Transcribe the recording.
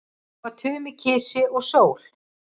Svo var Tumi kisi og sól.